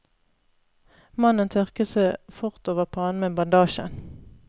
Mannen tørket seg fort over pannen med bandasjen.